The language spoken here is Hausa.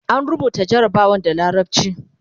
an rubuta jarabawan da larabci